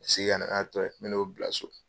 Segin ka nana n'a tɔ ye n bɛn'o bila so.